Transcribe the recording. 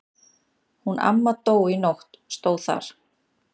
Hún amma dó í nótt stóð þar.